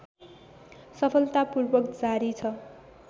सफलतापूर्वक जारी छ